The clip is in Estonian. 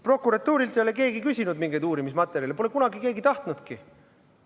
Prokuratuurilt ei ole keegi küsinud mingeid uurimismaterjale, neid pole kunagi keegi tahtnudki.